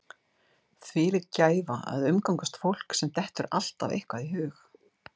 Þvílík gæfa að umgangast fólk sem dettur alltaf eitthvað í hug.